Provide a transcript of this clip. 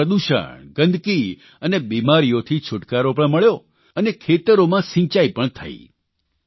એટલે કે પ્રદૂષણ ગંદકી અને બિમારીઓથી છૂટકારો પણ મળ્યો અને ખેતરોમાં સિંચાઇ પણ થઇ